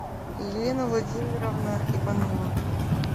елена владимировна иванова